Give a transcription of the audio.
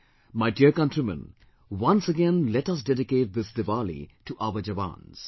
My dear countrymen, once again let us dedicate this Diwali to our Jawans